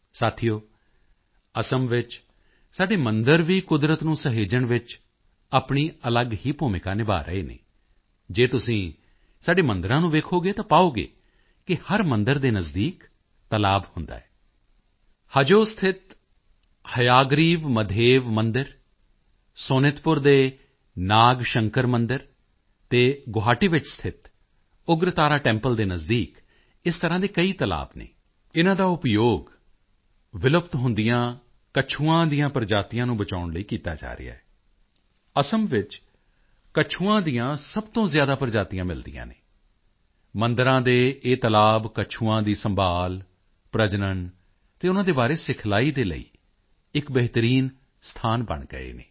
ਸਾਥੀਓ ਅਸਾਮ ਵਿੱਚ ਸਾਡੇ ਮੰਦਿਰ ਵੀ ਕੁਦਰਤ ਨੂੰ ਸਹੇਜਣ ਵਿੱਚ ਆਪਣੀ ਅਲੱਗ ਹੀ ਭੂਮਿਕਾ ਨਿਭਾ ਰਹੇ ਹਨ ਜੇ ਤੁਸੀਂ ਸਾਡੇ ਮੰਦਿਰਾਂ ਨੂੰ ਵੇਖੋਗੇ ਤਾਂ ਪਾਓਗੇ ਕਿ ਹਰ ਮੰਦਿਰ ਦੇ ਨਜ਼ਦੀਕ ਤਲਾਬ ਹੁੰਦਾ ਹੈ ਹਜੋ ਸਥਿਤ ਹਯਾਗਰੀਵ ਮਧੇਵ ਮੰਦਿਰ ਸੋਨਿਤਪੁਰ ਦੇ ਨਾਗ ਸ਼ੰਕਰ ਮੰਦਿਰ ਅਤੇ ਗੁਵਾਹਾਟੀ ਵਿੱਚ ਸਥਿਤ ਉੱਗਰਤਾਰਾ ਟੈਂਪਲ ਦੇ ਨਜ਼ਦੀਕ ਇਸ ਤਰ੍ਹਾਂ ਦੇ ਕਈ ਤਲਾਬ ਹਨ ਇਨ੍ਹਾਂ ਦਾ ਉਪਯੋਗ ਵਿਲੁਪਤ ਹੁੰਦੀਆਂ ਕੱਛੂਆਂ ਦੀ ਪ੍ਰਜਾਤੀਆਂ ਨੂੰ ਬਚਾਉਣ ਲਈ ਕੀਤਾ ਜਾ ਰਿਹਾ ਹੈ ਅਸਾਮ ਵਿੱਚ ਕੱਛੂਆਂ ਦੀਆਂ ਸਭ ਤੋਂ ਜ਼ਿਆਦਾ ਪ੍ਰਜਾਤੀਆਂ ਮਿਲਦੀਆਂ ਹਨ ਮੰਦਿਰਾਂ ਦੇ ਇਹ ਤਲਾਬ ਕੱਛੂਆਂ ਦੀ ਸੰਭਾਲ਼ ਪ੍ਰਜਨਣ ਅਤੇ ਉਨ੍ਹਾਂ ਦੇ ਬਾਰੇ ਸਿਖਲਾਈ ਦੇ ਲਈ ਇੱਕ ਬਿਹਤਰੀਨ ਸਥਾਨ ਬਣ ਗਏ ਹਨ